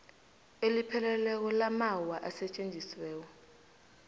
elipheleleko lamaawa asetjenziweko